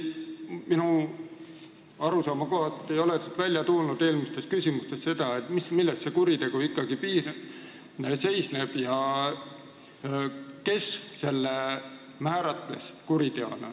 Minu arusaama kohaselt ei ole aga eelmistele küsimustele vastustest välja tulnud, milles see kuritegu ikkagi seisnes ja kes selle määratles kuriteona.